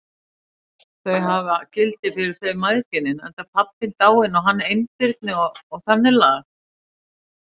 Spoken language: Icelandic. Þau hafi gildi fyrir þau mæðginin, enda pabbinn dáinn og hann einbirni og þannig lagað.